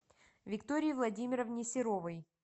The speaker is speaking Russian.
виктории владимировне серовой